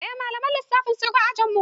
Eh malamin lissafin ya shigo ajn mu.